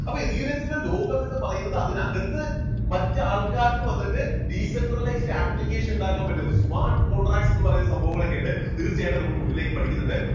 അപ്പോ ethereum ത്തിന്റെ ലോകം എന്നു പറയുന്നത് അതിനകത്ത് മറ്റ് ആൾക്കാർക്ക് വന്നിട്ട് decentralized application ഉണ്ടാക്കാൻ പറ്റും smart contract എന്ന് പറയുന്ന സംഭവങ്ങളൊക്കെ ഉണ്ട് തീർച്ചയായിട്ടും നമ്മൾ മുന്നിലേക്ക് പഠിക്കുന്നുണ്ട്.